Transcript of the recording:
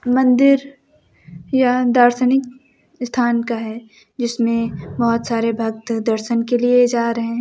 मंदिर यहां दार्शनिक स्थान का है जिसमें बहोत सारे भक्त दर्शन के लिए जा रहे हैं।